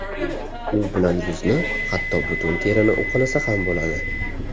U bilan yuzni, hatto butun terini uqalasa ham bo‘ladi”.